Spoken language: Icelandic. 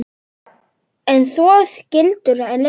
En svo skildu leiðir.